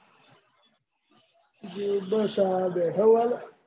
બસ આ બેઠો હું હાલ.